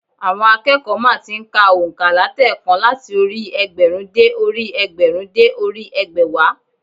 Àwọn akẹ́kọ̀ọ́ má ti n ka ònkà látèèkan láti orí i ẹgbẹ̀rún dé orí i ẹgbẹ̀rún dé orí i ẹgbẹ̀wá